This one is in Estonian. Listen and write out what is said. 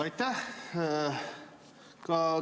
Aitäh!